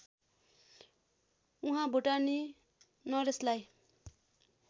उहाँ भुटानी नरेशलाई